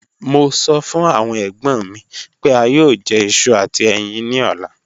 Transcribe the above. Mo sọ fun awon egbon mi pe a yoo jẹ iṣu ati ẹyin ni ọla.